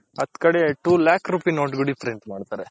ಕಡೆ two lack rupees note ಗಳು ಮಾಡ್ತಾರೆ.